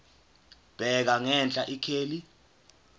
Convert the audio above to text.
bheka ngenhla ikheli